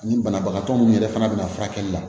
Ni banabagatɔ minnu yɛrɛ fana bɛna na furakɛli la